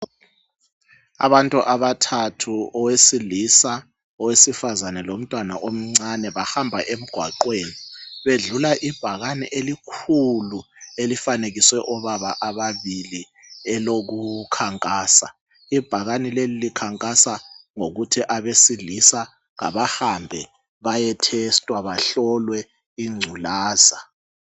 Abantu abathathu owesilisa, owesifazana lomntwana omncane bahamba emgwaqweni bedlula ibhakane elikhulu elifanekiswe obaba ababili elokukhankasa ibhakane leli likhankasa ngokuthi abesilisa abahambe baye testwa bahlulwe ingculaza.